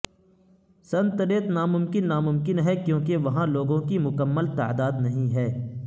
سنتریت ناممکن ناممکن ہے کیونکہ وہاں لوگوں کی مکمل تعداد نہیں ہے